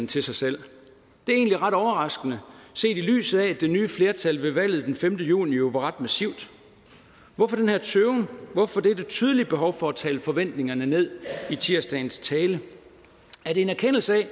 til sig selv det er egentlig ret overraskende set i lyset af at det nye flertal ved valget den femte juni jo var ret massivt hvorfor den her tøven hvorfor dette tydelige behov for at tale forventningerne ned i tirsdagens tale er det en erkendelse af at